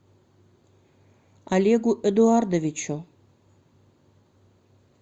олегу эдуардовичу